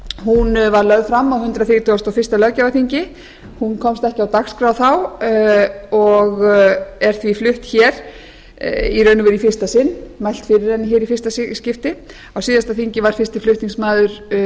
var lögð fram á hundrað þrítugasta og fyrsta löggjafarþingi hún komst ekki á dagskrá þá og er því flutt í raun og veru í fyrsta sinn mælt fyrir henni í fyrsta skipti á síðasta þingi var fyrsti flutningsmaður